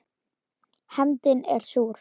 Hefndin er súr.